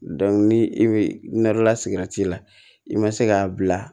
ni i bɛ nɛrɛlasigɛrɛti la i ma se k'a bila